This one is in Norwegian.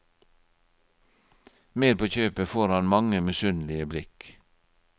Med på kjøpet får han mange misunnelige blikk.